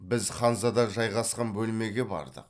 біз ханзада жайғасқан бөлмеге бардық